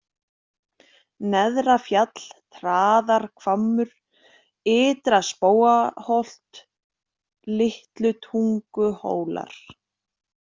Neðrafjall, Traðarhvammur, Ytra-Spóaholt, Litlutunguhólar